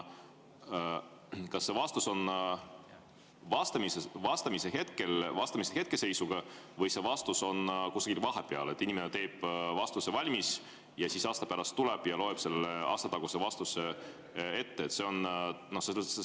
Kas vastus antakse vastamise hetke seisuga või antakse vastus nii‑öelda kusagil vahepeal, et inimene teeb vastuse valmis ja siis aasta pärast tuleb ja loeb selle aastataguse vastuse ette?